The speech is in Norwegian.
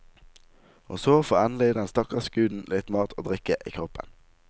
Og så får endelig den stakkars guden litt mat og drikke i kroppen.